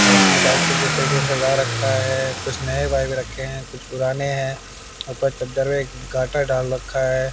Rack में bike को किस तरीके सजा रखा है कुछ नए बाइक रखे हैं कुछ पुराने हैं ऊपर एक चद्दर वे घाटा डाल रखा है।